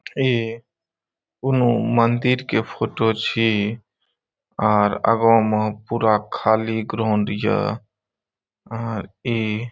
ई कउनो मंदिर के फोटो छी और आगो में पूरा खाली ग्राउंड हिय और ई --